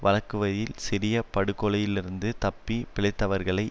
வழங்குவையில் சிறியப் படுகொலையிலிருந்து தப்பி பிழைத்தவர்களை